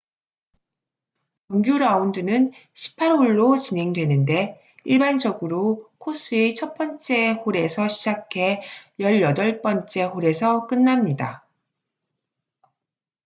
정규 라운드는 18홀로 진행되는데 일반적으로 코스의 첫 번째 홀에서 시작해 열여덟 번째 홀에서 끝납니다